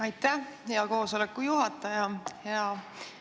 Aitäh, hea koosoleku juhataja!